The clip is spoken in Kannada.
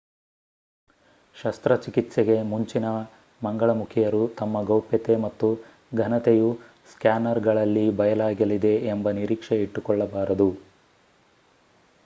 ಶಸ್ತ್ರಚಿಕಿತ್ಸೆಗೆ ಮುಂಚಿನ ಮಂಗಳಮುಖಿಯರು ತಮ್ಮ ಗೌಪ್ಯತೆ ಮತ್ತು ಘನತೆಯು ಸ್ಕ್ಯಾನರ್‌ಗಳಲ್ಲಿ ಬಯಲಾಗಲಿದೆ ಎಂಬ ನಿರೀಕ್ಷೆ ಇಟ್ಟುಕೊಳ್ಳಬಾರದು